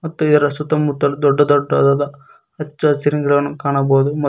ಮತ್ತು ಇದರ ಸುತ್ತಮುತ್ತಲು ದೊಡ್ಡ ದೊಡ್ಡದಾದ ಹಚ್ಚ ಹಸಿರಿನ ಗಿಡವನ್ನು ಕಾಣಬಹುದು ಮತ್ತ್--